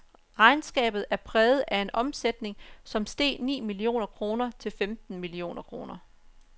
Regnskabet er præget af en omsætning, som steg ni millioner kroner til femten millioner kroner.